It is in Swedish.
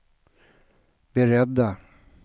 beredda